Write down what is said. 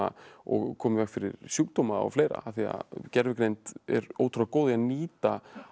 og koma í veg fyrir sjúkdóma og fleira af því að gervigreind er ótrúlega góð í nýta